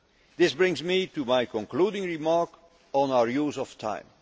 right. This brings me to my concluding remark, on our